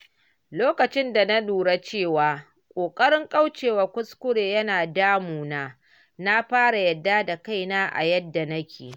Lokacin da na lura cewa ƙoƙarin kauce wa kuskure ya na damuna, na fara yarda da kaina a yadda nake.